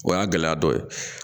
O y'a gɛlɛya dɔ ye